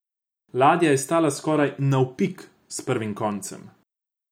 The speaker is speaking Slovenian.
Ladja je stala skoraj navpik s prvim koncem.